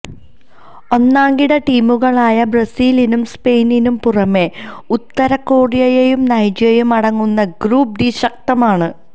ഒന്നാംകിട ടീമുകളായ ബ്രസീലിനും സ്പെയിനിനും പുറമെ ഉത്തര കൊറിയയും നൈജറും അടങ്ങുന്ന ഗ്രൂപ്പ് ഡി ശക്തമാണ്